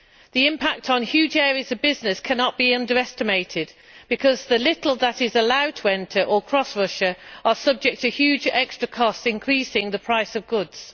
The impact on huge areas of business cannot be underestimated because the little that is allowed to enter or cross Russia is subject to huge extra costs, increasing the price of goods.